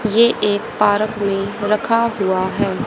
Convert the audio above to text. ये एक पारक में रखा हुआ हैं।